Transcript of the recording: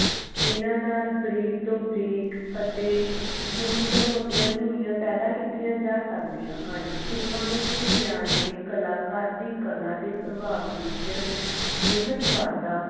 ਇਨਾਂ ਨਾਲ ਬਰੀਕ ਤੋਂ ਬਰੀਕ ਅਤੇ ਮੋਟੀ ਤੋਂ ਮੋਟੀ ਧੁਨੀਆਂ ਪੈਦਾ ਕੀਤੀਆਂ ਜਾ ਸਕਦੀਆਂ ਹਨ ਫ਼ਿਲਮਾਂ ਵਿਚ ਵਿਗਿਆਨ ਨੇ ਕਲਾਕਾਰ ਦੇ ਕਲਾ ਦੇ ਪ੍ਰਭਾਵ ਵਿਚ ਬੇਹਤ ਵਾਧਾ